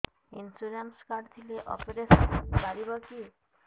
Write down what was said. insurance card ଥିଲେ operation ହେଇପାରିବ କି